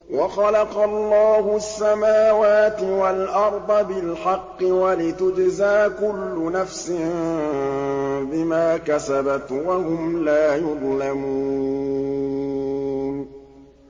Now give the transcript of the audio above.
وَخَلَقَ اللَّهُ السَّمَاوَاتِ وَالْأَرْضَ بِالْحَقِّ وَلِتُجْزَىٰ كُلُّ نَفْسٍ بِمَا كَسَبَتْ وَهُمْ لَا يُظْلَمُونَ